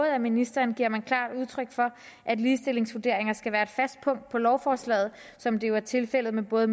af ministeren giver man klart udtryk for at ligestillingsvurderinger skal være et fast punkt i lovforslag som det jo er tilfældet med både